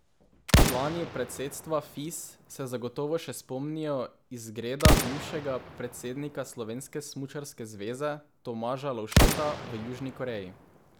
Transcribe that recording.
Člani predsedstva Fis se zagotovo še spomnijo izgreda bivšega predsednika slovenske smučarske zveze Tomaža Lovšeta v Južni Koreji.